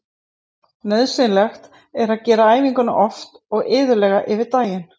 Nauðsynlegt er að gera æfinguna oft og iðulega yfir daginn.